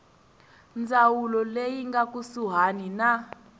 ndzawulo leyi nga kusuhani na